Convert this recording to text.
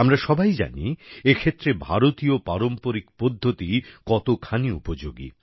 আমরা সবাই জানি এক্ষেত্রে ভারতীয় পারম্পরিক পদ্ধতি কতখানি উপযোগি